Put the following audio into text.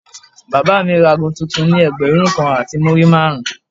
Bàbá mi ra ago tuntun ni ẹgbẹ̀rún kan àti múrí márùn-ún.